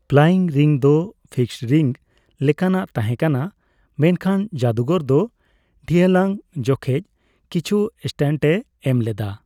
Playing ring ᱫᱚ fixed ring ᱞᱮᱠᱟᱱᱟᱜ ᱛᱟᱦᱮᱸ ᱠᱟᱱᱟ, ᱢᱮᱱᱠᱷᱟᱱ ᱡᱟᱹᱫᱩᱜᱚᱨ ᱫᱚ ᱰᱷᱤᱭᱞᱟᱹᱝ ᱡᱚᱠᱷᱵᱮᱡ ᱠᱤᱪᱷᱩ ᱥᱴᱟᱱᱴ ᱮ ᱮᱡ ᱞᱮᱫᱟ ᱾